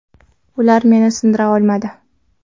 Ular meni sindira olmadi.